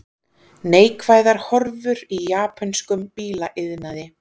Neikvæðar horfur í japönskum bílaiðnaði